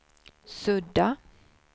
sudda